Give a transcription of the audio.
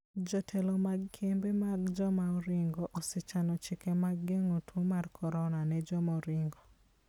Jotelo mag kembe mag joma oringo osechano chike mag geng'o tuo mar korona ne joma oringo.